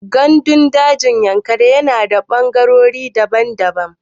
Ganɗun dajin Yankari na da fangarori daban daban.